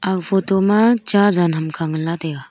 aga photo ma cha jaan ham kha ngan la taiga.